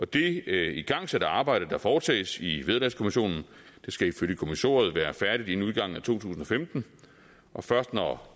det igangsatte arbejde der foretages i vederlagskommissionen skal ifølge kommissoriet være færdigt inden udgangen af to tusind og femten og først når